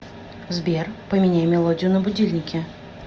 сбер поменяй мелодию на будильнике